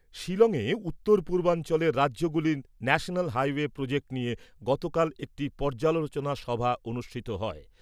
শিলংয়ে উত্তর পূর্বাঞ্চলের রাজ্যগুলির ন্যাশনাল হাইওয়ে প্রোজেক্ট নিয়ে গতকাল এক পর্যালোচনা সভা অনুষ্ঠিত হয়।